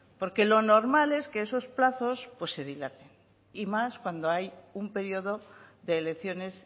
porque lo normal es que esos plazos pues se dilaten y más cuando hay un periodo de elecciones